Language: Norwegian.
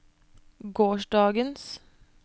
gårsdagens